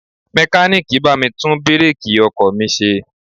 Mekaniiki bá mi tún bireeki ọkọ̀ mi ṣe.